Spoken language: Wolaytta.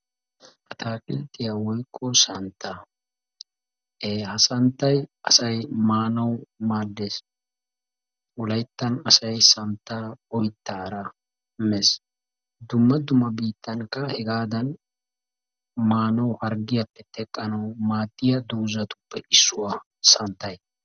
atakilttiya woykko santta ha santtay asay maanaw maaddees. dumma dumma biittatunkka hegadan maanawu harggiyaappe xeqqanaw maadiya doozatuppe issiuwa santtay.